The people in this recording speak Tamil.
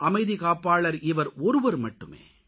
அமைதிக்காப்பாளர் இவர் ஒருவர் மட்டுமே